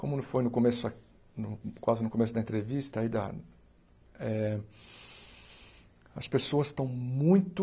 Como não foi no começo a quase no começo da entrevista aí da eh, as pessoas estão muito...